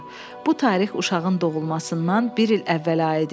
Bu tarix uşağın doğulmasından bir il əvvələ aid idi.